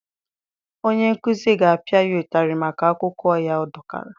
Onye nkuzi ga-apịa ya ụtarị maka akwụkwọ ya ọ dọkara.